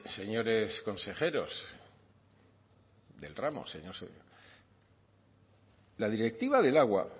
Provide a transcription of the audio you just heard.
señores consejeros del ramo señor la directiva del agua